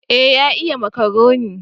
Eh ya iya makaroni